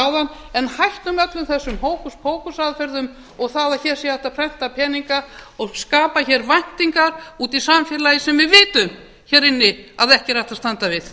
áðan en hættum öllum þessum hókus pókus aðferðum og það að hér sé hægt að prenta peninga og skapa hér væntingar úti í samfélagi sem við vitum hér inni að ekki er hægt að standa við